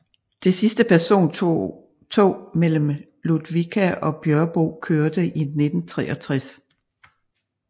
Det sidste persontog mellem Ludvika og Björbo kørte i 1963